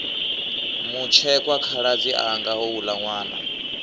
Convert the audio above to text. mutshekwa khaladzi anga houla nwana